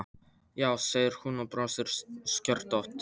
Já, segir hún og brosir skörðótt.